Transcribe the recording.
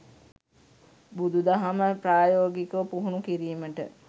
බුදුදහම ප්‍රායෝගිකව පුහුණු කිරීමට